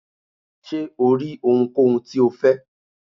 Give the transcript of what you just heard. ṣe o ri ohúnkohún ti o fẹ?